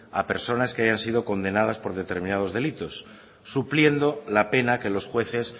a personas que hayan sido condenadas por determinados delitos supliendo la pena que los jueces